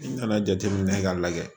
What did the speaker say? N nana jateminɛ k'a lajɛ